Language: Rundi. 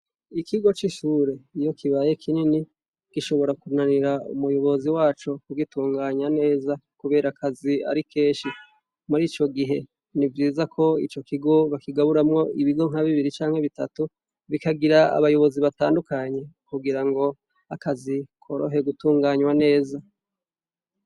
Ikigo c'ishure iyo kibaye kinini gishobora kunanir' umuyobozi waco kugitunganya neza kuber’akaz' ari kenshi , murico gihe n'ivyiza ku ico kigo bakigaburamwo ibigo nk' abibiri canke bitatu, bikagira abayobozi batandukanye kugira ngo akazi korohe gutunganywa neza.